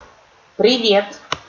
привет